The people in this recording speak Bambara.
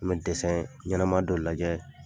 N bɛ ɲɛnɛma dɔ lajɛ.